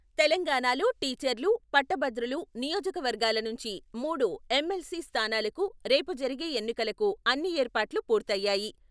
తెలంగాణాలో టీచర్లు, పట్టభద్రులు నియోజకవర్గాల నుంచి మూడు ఎంఎల్సీ స్థానాలకు రేపు జరిగే ఎన్నికలకు అన్ని ఏర్పాట్లు పూర్తయ్యాయి.